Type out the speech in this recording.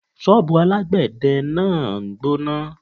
Ṣọ́bùù alágbè de náà ń gbóná.